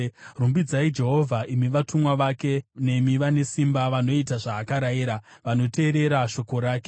Rumbidzai Jehovha, imi vatumwa vake, nemi vane simba vanoita zvaakarayira, vanoteerera shoko rake.